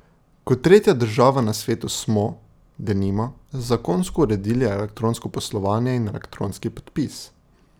Kot tretja država na svetu smo, denimo, zakonsko uredili elektronsko poslovanje in elektronski podpis.